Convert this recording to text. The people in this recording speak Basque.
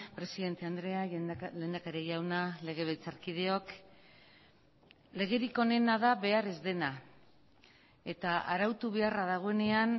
presidente andrea lehendakari jauna legebiltzarkideok legerik onena da behar ez dena eta arautu beharra dagoenean